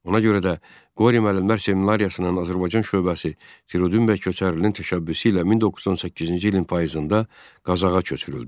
Ona görə də Qori müəllimlər seminariyasının Azərbaycan şöbəsi Firudin bəy Köçərlilin təşəbbüsü ilə 1918-ci ilin payızında Qazaxa köçürüldü.